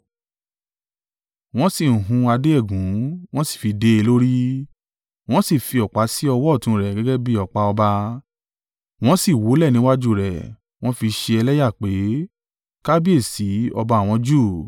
wọ́n sì hun adé ẹ̀gún. Wọ́n sì fi dé e lórí. Wọ́n sì fi ọ̀pá sí ọwọ́ ọ̀tún rẹ̀ gẹ́gẹ́ bí ọ̀pá ọba. Wọ́n sì wólẹ̀ níwájú rẹ̀, wọ́n fi í ṣe ẹlẹ́yà pé, “Kábíyèsí, ọba àwọn Júù!”